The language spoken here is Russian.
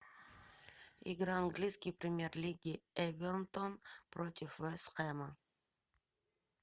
игра английской премьер лиги эвертон против вест хэма